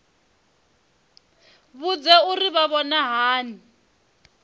vhudze uri vha vhona hani